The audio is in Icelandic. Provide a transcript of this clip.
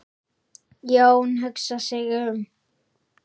Jón hugsar sig um.